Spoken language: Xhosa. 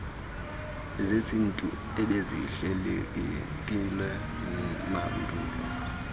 zesintu ebezihlelelekile mandulo